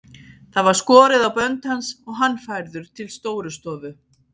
Það var skorið á bönd hans og hann færður til Stórustofu.